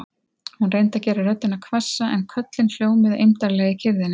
Hún reyndi að gera röddina hvassa en köllin hljómuðu eymdarlega í kyrrðinni.